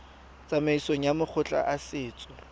tsamaisong ya makgotla a setso